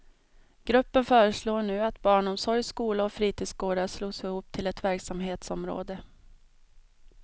Gruppen föreslår nu att barnomsorg, skola och fritidsgårdar slås ihop till ett verksamhetsområde.